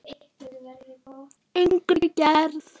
Innri gerð